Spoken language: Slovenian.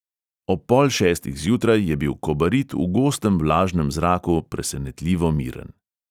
Ob pol šestih zjutraj je bil kobarid v gostem vlažnem zraku presenetljivo miren.